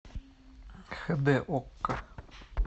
хд окко